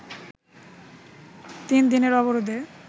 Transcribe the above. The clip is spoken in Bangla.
তিন দিনের অবরোধে